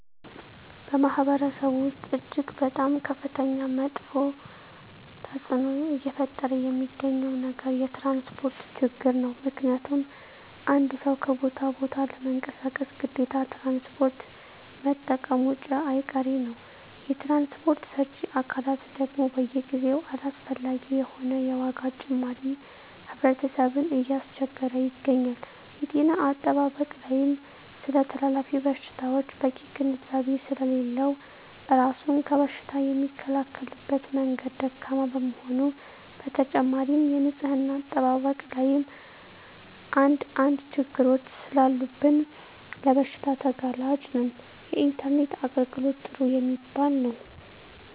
በማህበረሰቡ ወስጥ እጅግ በጣም ከፍተኛ መጥፌ ተፅዕኖ እየፈጠረ የሚገኘው ነገር የትራንስፖርት ችግር ነው ምክንያቱም አንድ ሰው ከቦታ ወደ ቦታ ለመንቀሳቀስ ግዴታ ትራንስፖርት መጠቀሙጨ አይቀሬ ነው የትራንስፖርት ሰጪ አካላት ደግም በየጊዜው አላስፈላጊ የሆነ የዋጋ ጭማሪ ህብረተሰብን እያስቸገረ ይገኛል። የጤና አጠባበቅ ላይም ስለተላላፊ በሽታወች በቂ ግንዛቤ ስሌለለው እራሱን ከበሽታ የሚከላከልበት መንገድ ደካማ በመሆኑ በተጨማሪም የንፅህና አጠባበቅ ላይም አንድ አንድ ችግሮች ሰላሉብን ለበሽታ ተጋላጭ ነን። የኢንተርኔት የአገልግሎት ጥሩ የሚባል የው።